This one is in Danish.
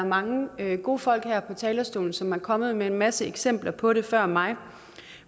mange gode folk her på talerstolen som er kommet med en masse eksempler på det før mig